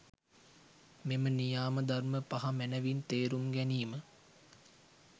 මෙම නියාම ධර්ම පහ මැනවින් තේරුම් ගැනීම,